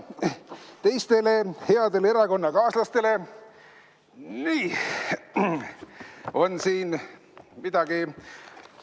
Teistele headele erakonnakaaslastele on siin midagi.